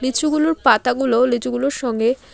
লিচুগুলোর পাতাগুলো লিচুগুলোর সঙ্গে--